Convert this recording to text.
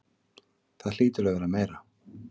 Það hlýtur að vera meira.